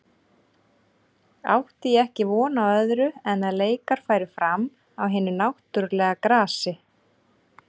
Átti ég ekki von á öðru en að leikar færu fram á hinu náttúrulega grasi.